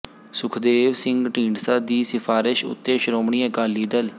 ਸੁਖਦੇਵ ਸਿੰਘ ਢੀਂਡਸਾ ਦੀ ਸ਼ਿਫਾਰਿਸ਼ ਉੱਤੇ ਸ਼੍ਰੋਮਣੀ ਅਕਾਲੀ ਦਲ